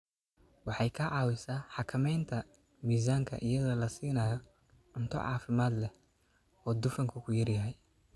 Waxay ka caawisaa xakamaynta miisaanka iyadoo la siinayo cunto caafimaad leh oo dufanku ku yar yahay.